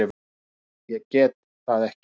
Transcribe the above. Nei, ég get það ekki.